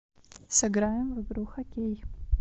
сыграем в игру хоккей